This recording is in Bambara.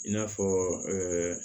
I n'a fɔ